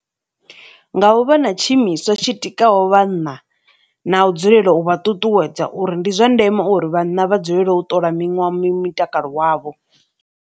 Nga u vha na tshiimiswa tshi tikaho vhanna na u dzulela u vha ṱuṱuwedza uri ndi zwa ndeme uri vhanna vha dzulela u ṱola mitakalo wavho.